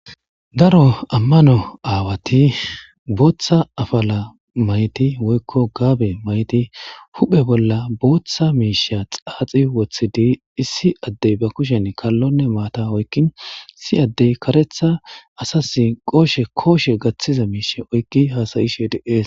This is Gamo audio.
Daro ammano aawati booththa afala mayti woykko gaabe mayti huphe bolla booththa miisha xaaxi woththidi issi addey ba kushen kallonne maata oykkin si addey karetha asasi qooshe kooshe gaththiza miishe oykki haasayishe deees.